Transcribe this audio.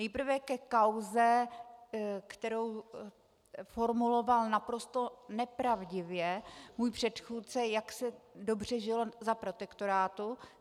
Nejprve ke kauze, kterou formuloval naprosto nepravdivě můj předchůdce, jak se dobře žilo za protektorátu.